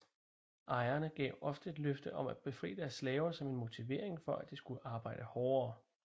Ejerne gav ofte løfte om at befri deres slaver som en motivering for at de skulle arbejde hårdere